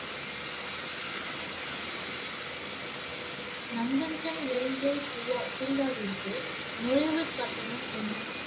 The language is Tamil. நந்தன்கன் விளங்கியல் பூவா~ பூங்காவிற்கு நுழைவுக் கட்டணம் என்ன?